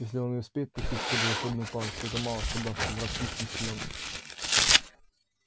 если он и успеет пустить в ход волшебную палочку это мало что даст враг слишком силен